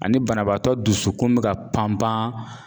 Ani banabaatɔ dusukun bɛ ka panpan